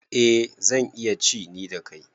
Eh zan iya ci ni kadai.